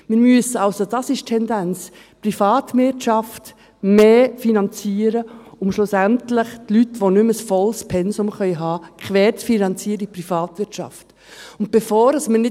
Wir müssen also, das ist die Tendenz, die Privatwirtschaft mehr finanzieren, um schlussendlich die Leute, die nicht mehr ein volles Pensum haben können, in der Privatwirtschaft quer zu finanzieren.